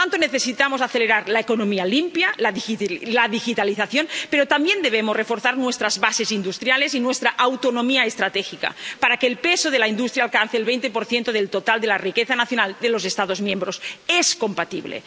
Por tanto, necesitamos acelerar la economía limpia, la digitalización, pero también debemos reforzar nuestras bases industriales y nuestra autonomía estratégica, para que el peso de la industria alcance el 20 del total de la riqueza nacional de los Estados miembros es compatible.